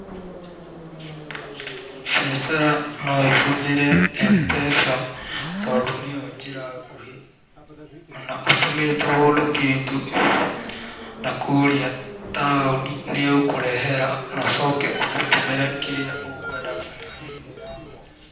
Mbiacara no ĩhũthĩre M-pesa tondũ nĩyo njĩra nguhĩ. O na ũtũmĩte mũndũ kĩndũ na kũrĩa taũni nĩ egũkũrehera, no ũcoke ũmũtũmĩre kĩrĩa ũkũendaga na thimũ yaku.